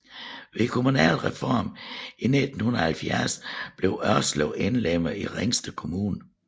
Ved kommunalreformen i 1970 blev Ørslev indlemmet i Ringsted Kommune